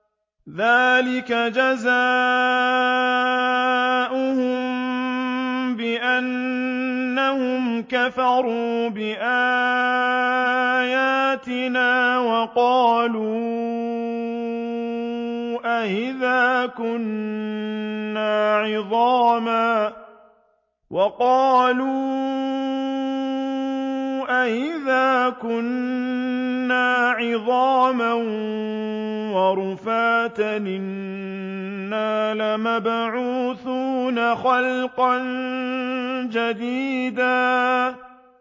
ذَٰلِكَ جَزَاؤُهُم بِأَنَّهُمْ كَفَرُوا بِآيَاتِنَا وَقَالُوا أَإِذَا كُنَّا عِظَامًا وَرُفَاتًا أَإِنَّا لَمَبْعُوثُونَ خَلْقًا جَدِيدًا